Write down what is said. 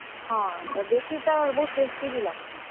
ହଁ, ଦେଶୀ ତ ବହୁତ୍ tasty ବି ଲାଗ୍ ସି।